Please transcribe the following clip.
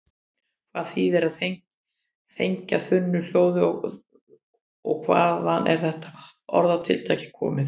Hvað þýðir að þegja þunnu hljóði og hvaðan er þetta orðatiltæki komið?